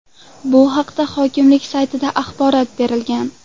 Bu haqda hokimlik saytida axborot berilgan .